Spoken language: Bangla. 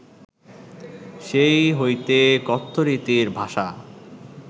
সেই হইতে কথ্যরীতির ভাষা